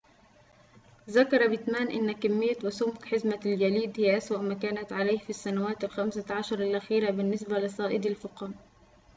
ذكر بيتمان أن كمية وسمك حزمة الجليد هي أسوأ ما كانت عليه في السنوات الخمسة عشر الأخيرة بالنسبة لصائدي الفقم